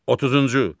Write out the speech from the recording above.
30-cu.